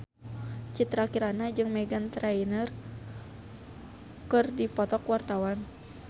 Citra Kirana jeung Meghan Trainor keur dipoto ku wartawan